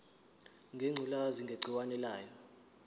ngengculazi negciwane layo